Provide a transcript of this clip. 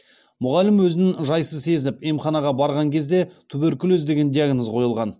мұғалім өзін жайсыз сезініп емханаға барған кезде туберкулез деген диагноз қойылған